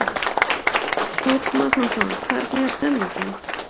Páll Magnússon: Hvernig er stemmingin?